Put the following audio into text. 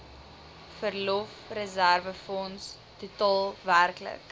verlofreserwefonds totaal werklik